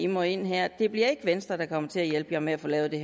må ind her det bliver ikke venstre der kommer til at hjælpe med at få lavet det